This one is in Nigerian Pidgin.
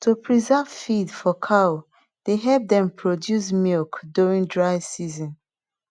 to preserve feed for cow dey help dem produce milk during dry season